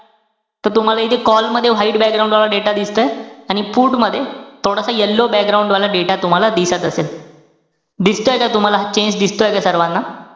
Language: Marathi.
त तुम्हाला इथे call मध्ये white वाला data दिसतंय. आणि put मध्ये थोडासा yellow वाला data तुम्हाला दिसत असेल. दिसतोय का तुम्हाला? change दिसतोय का सर्वांना?